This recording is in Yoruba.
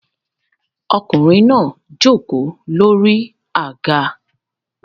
Ọkùnrin náà jókòó lórí àga